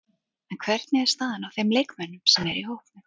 En hvernig er staðan á þeim leikmönnum sem eru í hópnum?